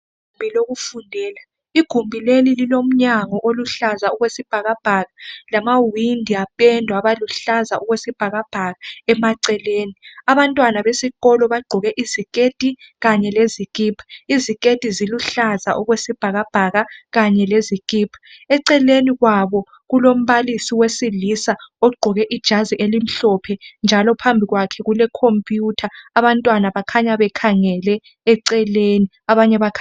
Igumbi lokufundela, igumbi leli lilomnyango oluhlaza okwesibhakabhaka lamawindi apendwa okulihlaza okwesibhakabhaka abantwana besikolo bagqoke iziketi kanye lezikhipa, iziketi ziluhlaza okwesibhakabhaka kanye lezikhipha eceleni kwabo kulombalisi wesilisa ogqoke ijazi elimhlophe njalo phambili kwakhe kulekhomputha abantwana bakhanya bekhangele eceleni.